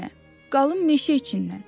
Qalın meşə içindən.